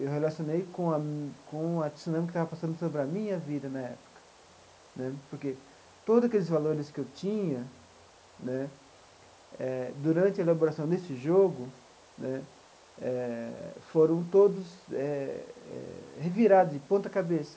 Eu relacionei com a mi com a tsunami que estava passando sobre a minha vida na época né, porque todos aqueles valores que eu tinha né eh durante a elaboração desse jogo né eh foram todos eh eh revirados de ponta-cabeça.